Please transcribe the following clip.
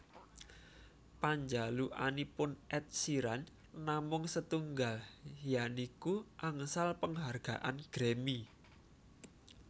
Panjalukanipun Ed Sheeran namung setunggal yaniku angsal penghargaan Grammy